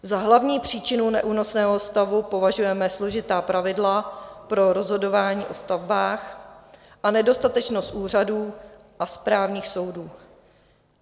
Za hlavní příčinu neúnosného stavu považujeme složitá pravidla pro rozhodování o stavbách a nedostatečnost úřadů a správních soudů.